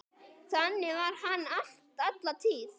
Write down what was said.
Þannig var hann alla tíð.